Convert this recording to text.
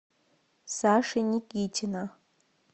саши никитина